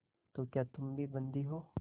तो क्या तुम भी बंदी हो